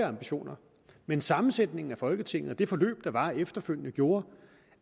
ambitioner men sammensætningen af folketinget og det forløb der var efterfølgende gjorde